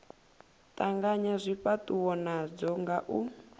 tanganya zwifhatuwo nadzo nga u